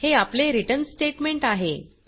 हे आपले return statement आहे